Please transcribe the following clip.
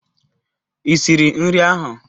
Ị siri nri ahụ?